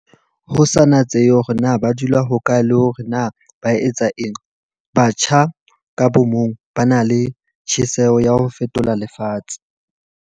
Ho sa natsehe hore na ba dula hokae le hore na ba etsa eng, batjha ka bomong ba na le tjheseho ya ho fetola lefatshe.